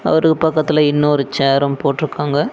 அவருக்கு பக்கத்துல இன்னொரு சேரும் போட்ருக்காங்க.